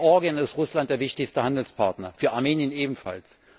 Für Georgien ist Russland der wichtigste Handelspartner, für Armenien ebenfalls.